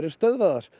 stöðvaðar